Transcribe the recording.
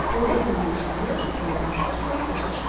Onda qım yumşalır, qımı dartırsan, özü çıxır.